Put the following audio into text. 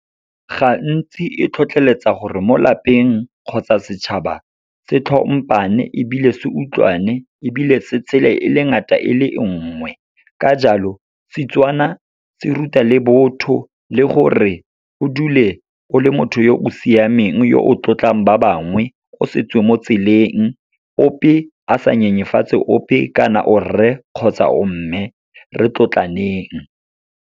Gantsi e tlhotlheletsa gore mo lapeng kgotsa setšhaba, se tlhompane ebile se utlwane, ebile se tshele e le ngata e le nngwe. Ka jalo, Setswana se ruta le botho, le gore o dule o le motho yo o siameng. Yo o tlotlang ba bangwe, o setswe mo tseleng, ope a sa nyenyefatse ope kana o rre kgotsa o mme, re tlotlaneng.